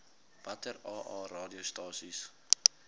watter aa radiostasies